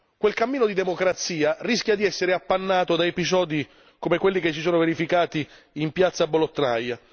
Quel cammino di democrazia rischia di essere appannato da episodi come quelli che si sono verificati in piazza Bolotnaya